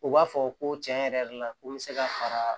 U b'a fɔ ko tiɲɛ yɛrɛ la ko n bɛ se ka fara